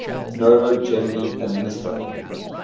noro generally administer